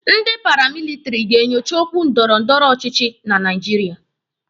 Ndị paramilitiri ga-enyocha okwu ndọrọndọrọ ọchịchị na Naijiria.